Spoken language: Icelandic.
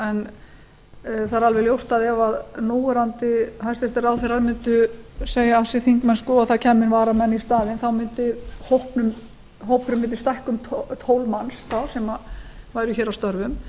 það er alveg ljóst að ef núverandi hæstvirtir ráðherrar mundu segja af sér þingmennsku og það kæmu varamenn í staðinn mundi hópurinn stækka um tólf manns sem væru hér